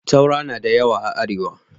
Taura na da yawa a Arewa.